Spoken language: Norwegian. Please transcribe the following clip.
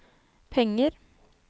penger